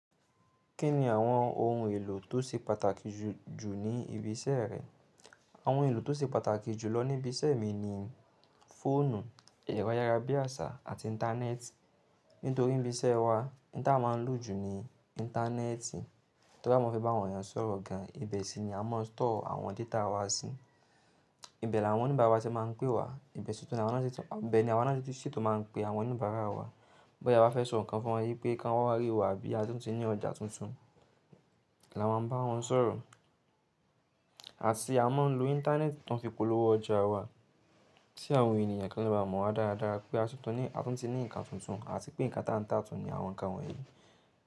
Kí ni àwọn ohun èlò tó ṣe pàtàkì jù jù ní ibi iṣẹ́ rẹ? Àwọn ohun èlò tó ṣe pàtàkì jù lọ ní ibi iṣẹ́ mi ni fóònù, ẹ̀rọ ayárabíàṣá àti Íńtánẹ́ẹ̀tì. Nítorí ní ibi iṣẹ́ wa, ohun tí a máa ń lò jù ní Íńtánẹ́ẹ̀tì. To ri á mọ fi bá àwọn èèyàn sọ̀rọ̀ gan, ibẹ̀ sì ni a mọ stọ́ọ̀ àwọn data wa sí. Ibẹ̀ ni àwọn oníbàárà wa ti máa ń pé wa. Ibẹ̀ ni àwa náà tí ṣi tun máa ń pe àwọn oníbàárà wa. Boyá ewa fẹ́ sọ nǹkan fún wa wípé kí wọ́n wá rí wa bí a tún ti ní ọjà tuntun, la máa ń bá wọn sọ̀rọ̀. Àti a mọ̀ ń lo Íńtánẹ́ẹ̀tì tó ń fi polówó ọjà wa. Tí àwọn ènìyàn kan le baá mọ̀ wa dáradára pé a tú ti ní nǹkan tuntun àti pé nǹkan táǹtán tún ní àwọn nǹkan wọ̀nyí.